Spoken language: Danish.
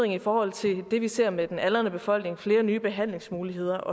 i forhold til det vi ser med den aldrende befolkning flere nye behandlingsmuligheder